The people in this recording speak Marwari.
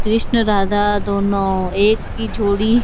कृष्णा राधा दोनों एक ही जोड़ी--